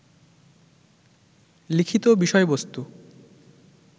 লিখিত বিষয়বস্তু